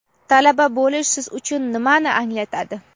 Talaba bo‘lish siz uchun nimani anglatadi?.